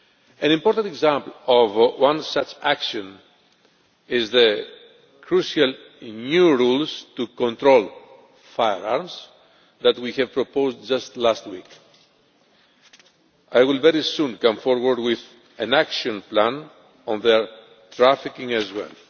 An important example of one such action is the crucial new rules to control firearms that we proposed just last week. I will very soon come forward with an action plan on their trafficking as well.